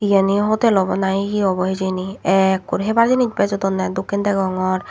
yenhi hotel awbo na hi hi awbo hijeni ekkur hebar jinis bejodonney dokken degongor.